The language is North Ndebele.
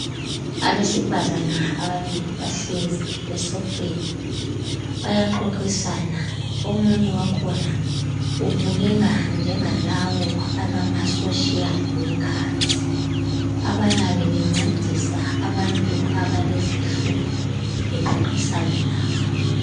Abesifazana ababili bahlezi esofeni bayaxoxisana omunye wakhona ubukeka njengalabo abama social workers abayabe bencedisa abantu abalezinhlupho bexoxisana labo.